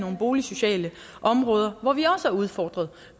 boligsociale områder hvor vi også er udfordret